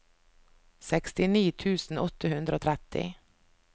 sekstini tusen åtte hundre og tretti